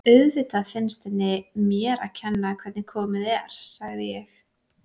Auðvitað finnst henni mér að kenna hvernig komið er, sagði ég.